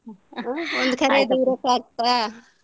ಒಂದು ಕರೆಯದೆ ಇರಕ್ ಆಗ್ತದಾ.